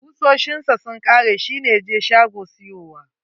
Kusoshin sa sun kare, shi ne ya je shago siyowa.